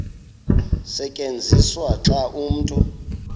tyenziswa xa umntu